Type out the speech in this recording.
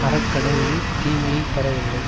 அறக்கடவுளே தீமையை தர எண்ணும்